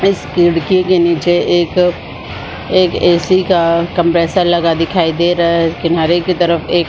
इस खिड़की के नीचे एक एक ऐसी का कंप्रेसर लगा दिखाई दे रहा है किनारे के तरफ एक--